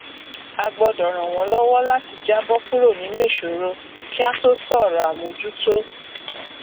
a gbọdọ ran wọn lọwọ láti jàbọ kúrò nínú ìsòro kí á tó sọrọ àmójútó